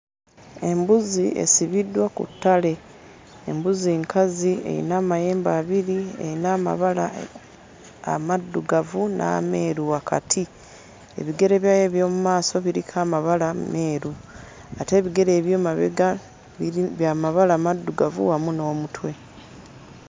Embuzi esibiddwa ku ttale. Embuzi nkazi, eyina amayembe abiri, eyina amabala amaddugavu n'ameeru wakati. Ebigere byayo eby'omu maaso biriko amabala meeru ate ebigere eby'emabega biri bya mabala maddugavu wamu n'omutwe.